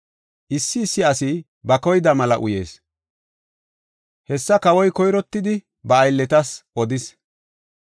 Issi issi asi ba koyida mela uyees; hessa kawoy koyrottidi ba aylletas odis.